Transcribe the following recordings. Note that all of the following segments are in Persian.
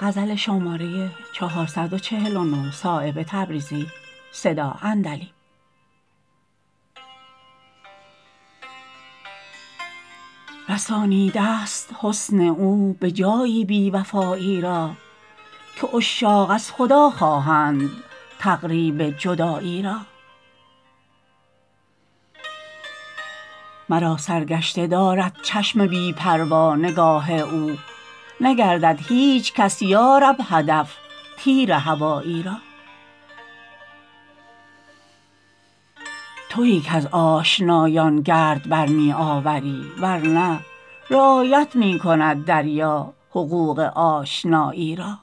رسانیده است حسن او به جایی بی وفایی را که عشاق از خدا خواهند تقریب جدایی را مرا سرگشته دارد چشم بی پروا نگاه او نگردد هیچ کس یارب هدف تیر هوایی را تویی کز آشنایان گرد بر می آوری ورنه رعایت می کند دریا حقوق آشنایی را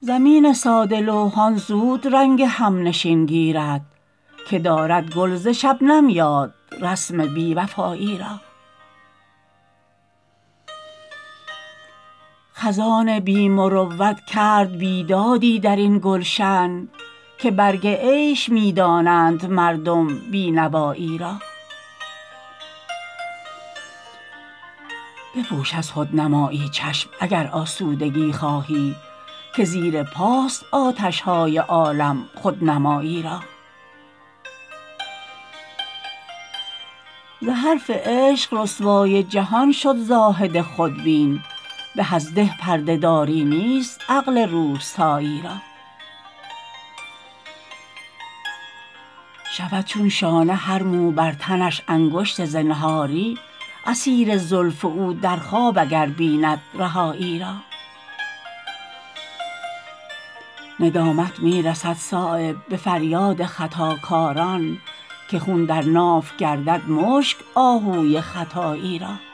زمین ساده لوحان زود رنگ همنشین گیرد که دارد گل ز شبنم یاد رسم بی وفایی را خزان بی مروت کرد بیدادی درین گلشن که برگ عیش می دانند مردم بینوایی را بپوش از خودنمایی چشم اگر آسودگی خواهی که زیر پاست آتش های عالم خودنمایی را ز حرف عشق رسوای جهان شد زاهد خودبین به از ده پرده داری نیست عقل روستایی را شود چون شانه هر مو بر تنش انگشت زنهاری اسیر زلف او در خواب اگر بیند رهایی را ندامت می رسد صایب به فریاد خطاکاران که خون در ناف گردد مشک آهوی ختایی را